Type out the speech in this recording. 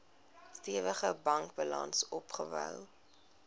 stewige bankbalans opgebou